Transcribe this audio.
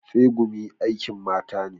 Tsegumi aikin mata ne.